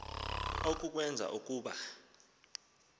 oku kwenza ukuba